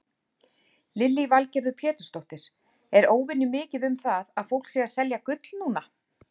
Lillý Valgerður Pétursdóttir: Er óvenjumikið um það að fólk sé að selja gull núna?